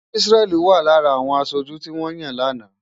Isreal wà lára àwọn aṣojú tí wọ́n yàn lánàá.